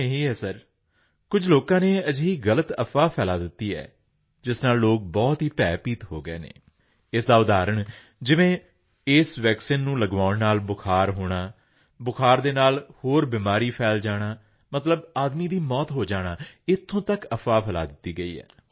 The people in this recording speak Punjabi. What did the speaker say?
ਕਾਰਨ ਇਹੀ ਸਰ ਕੁਝ ਲੋਕਾਂ ਨੇ ਅਜਿਹੀ ਗਲਤ ਅਫ਼ਵਾਹ ਫੈਲਾਅ ਦਿੱਤੀ ਜਿਸ ਨਾਲ ਲੋਕ ਬਹੁਤ ਹੀ ਭੈਭੀਤ ਹੋ ਗਏ ਇਸ ਦਾ ਉਦਾਹਰਣ ਜਿਵੇਂ ਜਿਵੇਂ ਉਸ ਵੈਕਸੀਨ ਨੂੰ ਲਗਵਾਉਣ ਨਾਲ ਬੁਖਾਰ ਹੋਣਾ ਬੁਖਾਰ ਨਾਲ ਹੋਰ ਬਿਮਾਰੀ ਫੈਲ ਜਾਣਾ ਮਤਲਬ ਆਦਮੀ ਦੀ ਮੌਤ ਹੋ ਜਾਣਾ ਇੱਥੋਂ ਤੱਕ ਵੀ ਅਫ਼ਵਾਹ ਫੈਲਾਈ ਗਈ